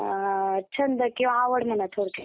छंद किंवा आवड म्हणा त्यानुसार